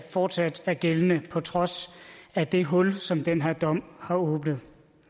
fortsat er gældende på trods af det hul som den her dom har åbnet